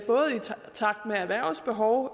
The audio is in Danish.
takt med erhvervets behov